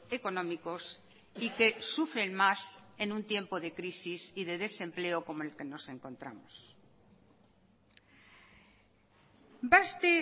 económicos y que sufren más en un tiempo de crisis y de desempleo como en el que nos encontramos baste